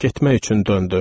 Getmək üçün döndü.